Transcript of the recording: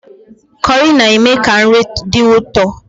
Kọrị na-eme ka nri dị ụtọ